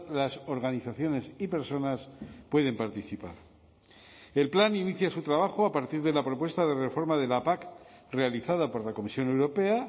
las organizaciones y personas pueden participar el plan inicia su trabajo a partir de la propuesta de reforma de la pac realizada por la comisión europea